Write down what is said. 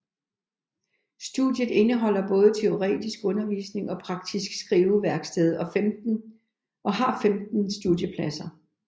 Studiet indeholder både teoretisk undervisning og praktisk skriveværksted og har 15 studiepladser